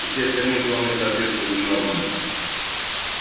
и все остальные вполне соответствовали нормам